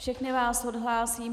Všechny vás odhlásím.